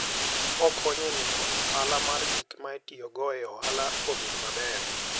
Okonyo e miyo ohala mar gik ma itiyogo e ohala obed maber.